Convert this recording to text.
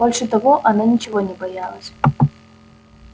больше того она ничего не боялась